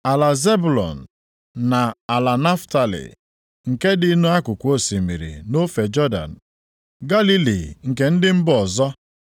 “Ala Zebụlọn na ala Naftalị, nke dị nʼakụkụ osimiri, nʼofe Jọdan, Galili nke ndị mba ọzọ,